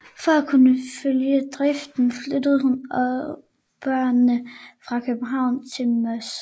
For at kunne følge driften flyttede hun og børnene fra København til Moss